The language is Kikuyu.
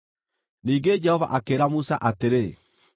Ningĩ Jehova akĩĩra Musa atĩrĩ,